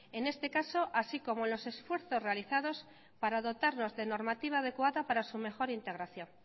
en este caso así como los esfuerzos realizados para dotarlos de normativa adecuada para su mejor integración